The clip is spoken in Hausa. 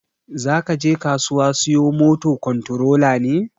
Zakaje kasuwa siyo moto kontorola ne?